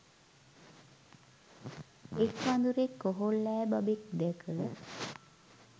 එක් වඳුරෙක් කොහොල්ලෑ බබෙක් දැක